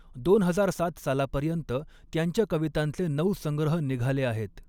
दोन हजार सात सालापर्यंत त्यांच्या कवितांचे नऊ संग्रह निघाले आहेत.